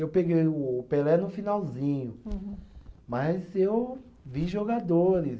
Eu peguei o o Pelé no finalzinho, mas eu vi jogadores.